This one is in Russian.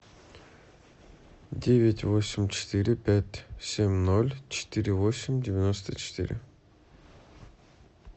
девять восемь четыре пять семь ноль четыре восемь девяносто четыре